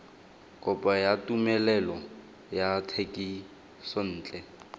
kopo ya tumelelo ya thekisontle